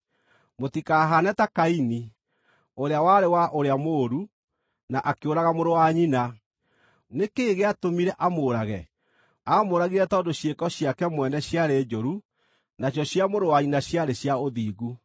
Mũtikahaane ta Kaini, ũrĩa warĩ wa ũrĩa mũũru, na akĩũraga mũrũ wa nyina. Nĩ kĩĩ gĩatũmire amũũrage? Aamũũragire tondũ ciĩko ciake mwene ciarĩ njũru, nacio cia mũrũ wa nyina ciarĩ cia ũthingu.